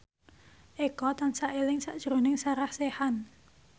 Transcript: Eko tansah eling sakjroning Sarah Sechan